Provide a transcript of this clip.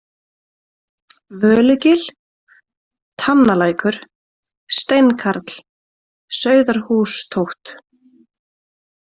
Völugil, Tannalækur, Steinkarl, Sauðarhústóft